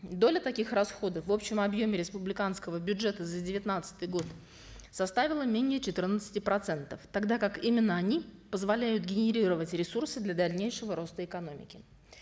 доля таких расходов в общем объеме республиканского бюджета за девятнадцатый год составила менее четырнадцати процентов тогда как именно они позволяют генерировать ресурсы для дальнейшего роста экономики